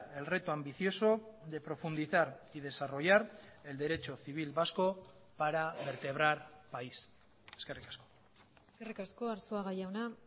el reto ambicioso de profundizar y desarrollar el derecho civil vasco para vertebrar país eskerrik asko eskerrik asko arzuaga jauna